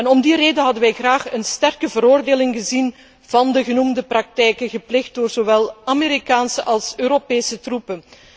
Om die reden hadden wij graag een sterke veroordeling gezien van de genoemde praktijken, gepleegd door zowel Amerikaanse als Europese troepen.